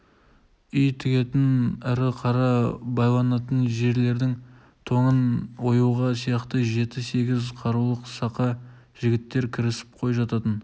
үй тігетін ірі қара байланатын жерлердің тоңын оюға сияқты жеті-сегіз қарулы сақа жігіттер кірісіп қой жататын